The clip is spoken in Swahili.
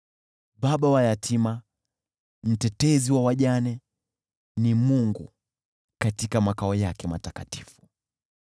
Baba wa yatima, mtetezi wa wajane, ni Mungu katika makao yake matakatifu.